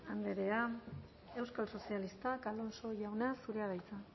andrea euskal sozialistak alonso jauna zurea da hitza